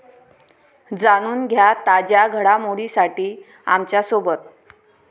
जाणून घ्या ताज्या घडामोडींसाठी आमच्यासोबत.